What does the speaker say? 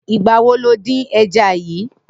Nigbà wó ló din ẹ̀já yi?